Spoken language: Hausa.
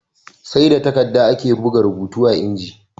Sai da takadda ake buga rubuta a inji